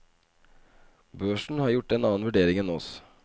Børsen har gjort en annen vurdering enn oss.